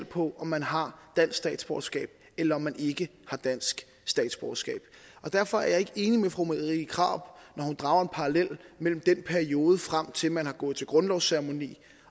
på om man har dansk statsborgerskab eller om man ikke har dansk statsborgerskab og derfor er jeg ikke enig med fru marie krarup når hun drager en parallel mellem perioden frem til at man har gået til grundlovsceremoni